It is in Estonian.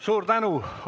Suur tänu!